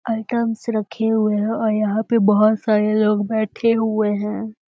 Items रखे हुए हैं और यहां पे बहोत सारे लोग बैठे हुए हैं।